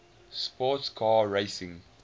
sports car racing